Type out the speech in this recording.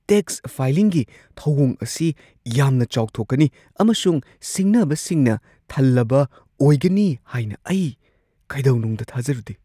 Tax ꯐꯥꯏꯂꯤꯡꯒꯤ ꯊꯧꯑꯣꯡ ꯑꯁꯤ ꯌꯥꯝꯅ ꯆꯥꯎꯊꯣꯛꯀꯅꯤ ꯑꯃꯁꯨꯡ ꯁꯤꯡꯅꯕꯁꯤꯡꯅ ꯊꯜꯂꯕ ꯑꯣꯏꯒꯅꯤ ꯍꯥꯏꯅ ꯑꯩ ꯀꯩꯗꯧꯅꯨꯡꯗ ꯊꯥꯖꯔꯨꯗꯦ꯫